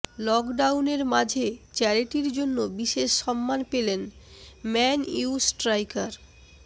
লকডাউনের মাঝে চ্যারিটির জন্য বিশেষ সম্মান পেলেন ম্যান ইউ স্ট্রাইকার